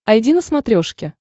айди на смотрешке